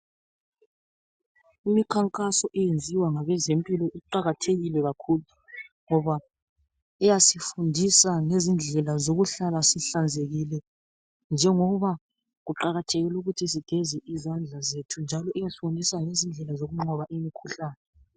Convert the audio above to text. Imikhankaso eyenziwa ngabezempilakahle iqakathekile kakhulu ngoba iyasifundisa ngezindlela zokuhlala sihlanzekile njengoba kuqakathekile ukuthi sigeze izandla zethu njalo iyasibonisa izindlela zokunqoba imikhuhlane.